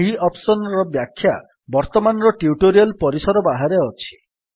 ଏହି ଅପ୍ସନ୍ ର ବ୍ୟାଖ୍ୟା ବର୍ତ୍ତମାନର ଟ୍ୟୁଟୋରିଆଲ୍ ପରିସର ବାହାରେ ଅଛି